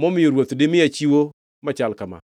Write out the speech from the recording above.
momiyo ruoth dimiya chiwo machal kama?